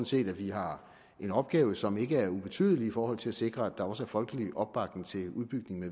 set at vi har en opgave som ikke er ubetydelig i forhold til at sikre at der også er folkelig opbakning til udbygningen af